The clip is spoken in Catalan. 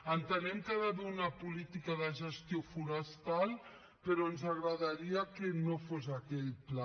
entenem que hi ha d’haver una política de gestió forestal però ens agradaria que no fos aquell pla